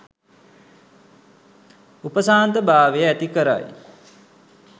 උපශාන්ත භාවය ඇති කරයි.